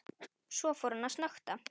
Svo fór hann að snökta.